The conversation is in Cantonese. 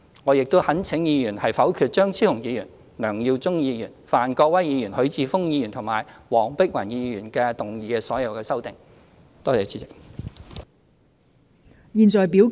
我亦懇請議員否決張超雄議員、梁耀忠議員、范國威議員、許智峯議員及黃碧雲議員提出的所有修正案。